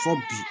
Fɔ bi